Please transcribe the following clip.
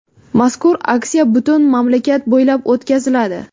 Mazkur aksiya butun mamlakat bo‘ylab o‘tkaziladi.